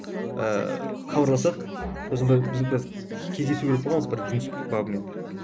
ыыы хабарласып сосын бір біз бір кездесу керек болғанбыз бір жұмыс бабымен